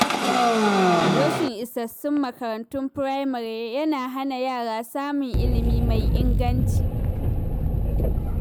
Rashin isassun makarantun firamare yana hana yara samun ilimi mai inganci.